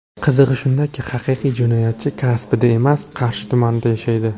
Qizig‘i shundaki, haqiqiy jinoyatchi Kasbida emas, Qarshi tumanida yashaydi.